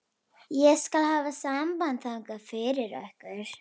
Ég skal hafa samband þangað fyrir ykkur.